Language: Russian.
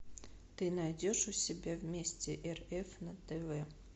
ты найдешь у себя вместе рф на тв